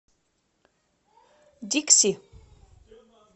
дикси